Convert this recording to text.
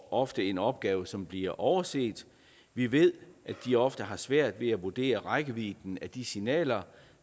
ofte en opgave som bliver overset vi ved at de ofte har svært ved at vurdere rækkevidden af de signaler